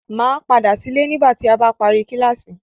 Màá padà sí ilé nígbà tí a bá parí kíláásì.